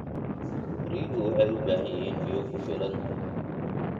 Riyuhu waxay u baahan yihiin biyo ku filan.